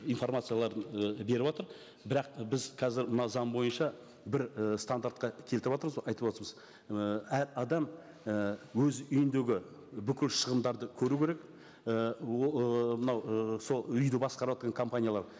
информацияларын і беріватыр бірақ біз қазір мына заң бойынша бір і стандартқа келтіріватырмыз айтып отырмыз і әр адам і өз үйіндегі бүкіл шығындарды көру керек і ол і мынау і сол үйді басқаратын компаниялар